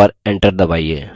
और enter दबाइए